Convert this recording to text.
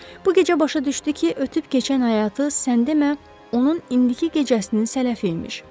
Bu gecə başa düşdü ki, ötüb keçən həyatı, sən demə, onun indiki gecəsinin sələfi imiş.